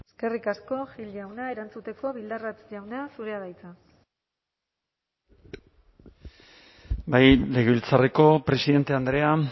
eskerrik asko gil jauna erantzuteko bildarratz jauna zurea da hitza bai legebiltzarreko presidente andrea